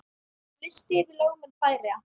Listi yfir lögmenn Færeyja